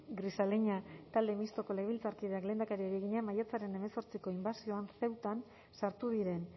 grisaleña talde mistoko legebiltzarkideak lehendakariari egina maiatzaren hemezortziko inbasioan ceutan sartu diren